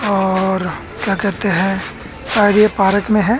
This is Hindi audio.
और क्या कहते है शायद ये पारक में है।